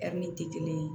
tɛ kelen ye